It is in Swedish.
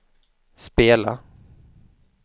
spela